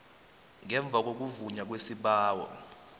ngemva kokuvunywa kwesibawo